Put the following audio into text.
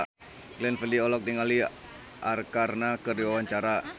Glenn Fredly olohok ningali Arkarna keur diwawancara